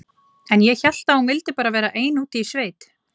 En ég hélt að hún vildi bara vera ein úti í sveit.